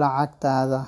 lacagtatha.